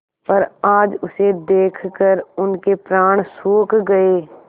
पर आज उसे देखकर उनके प्राण सूख गये